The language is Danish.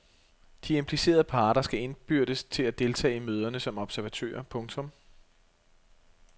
De implicerede parter skal indbydes til at deltage i møderne som observatører. punktum